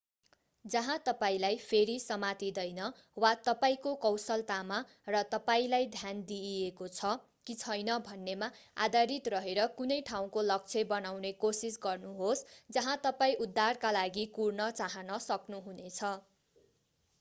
जहाँ तपाईंलाई फेरि समातिदैन वा तपाईंको कौशलतामा र तपाईंलाई ध्यान दिइएको छ कि छैन भन्नेमा आधारित रहेर कुनै ठाउँको लक्ष्य बनाउने कोसिस गर्नुहोस् जहाँ तपाईं उद्धारका लागि कुर्न चाहन सक्नुहुनेछ